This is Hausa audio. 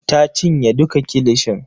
Ta cinye duka kilishin.